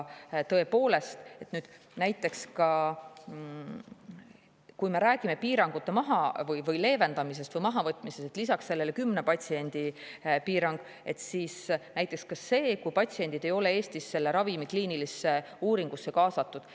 Tõepoolest, kui me räägime piirangute leevendamisest või mahavõtmisest, siis lisaks sellele 10 patsiendi piirangule on näiteks ka see, et kui patsiendid ei ole Eestis selle ravimi kliinilisse uuringusse kaasatud.